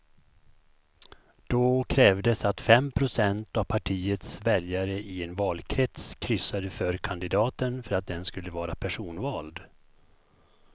Då krävdes att fem procent av partiets väljare i en valkrets kryssade för kandidaten för att den skulle vara personvald.